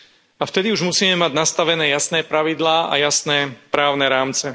A vtedy už musíme mať nastavené jasné pravidlá a jasné právne rámce.